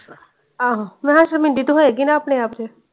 ਆਹੋ ਮੈਂ ਕਿਹਾ ਸ਼ਰਮਿੰਦੀ ਤੇ ਹੋਏਗੀ ਨਾ ਆਪਣੇ ਆਪ ਚੇ ।